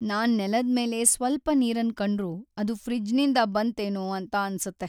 ನಾನ್ ನೆಲದ್ ಮೇಲೆ ಸ್ವಲ್ಪ ನೀರನ್ ಕಂಡ್ರು ಅದು ಫ್ರಿಜ್ನಿಂದ ಬಂತ್ ಏನೋ ಅಂತ ಅನ್ಸುತ್ತೆ.